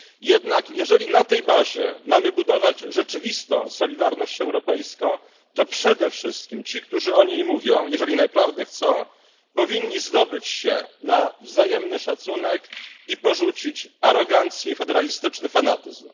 Jednak jeżeli na tej bazie mamy budować rzeczywistą solidarność europejską, to przede wszystkim ci, którzy o niej mówią, jeżeli naprawdę jej chcą, powinni zdobyć się na wzajemny szacunek i porzucić arogancję i federalistyczny fanatyzm.